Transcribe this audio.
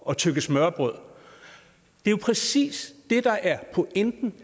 at tygge smørrebrød det er jo præcis det der er pointen